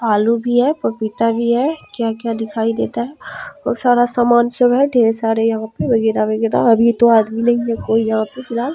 आलू भी है पपीता भी है क्या-क्या दिखाई देता है बहुत सारा सामान सब है ढेर सारे यहाँ पे वगैरह-वगैरह अभी तो आदमी नहीं है कोई यहाँ पे फिलहाल।